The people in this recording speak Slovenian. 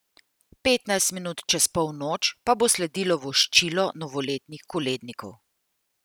Petnajst minut čez polnoč pa bo sledilo voščilo novoletnih kolednikov.